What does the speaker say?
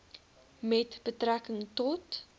met betrekking tot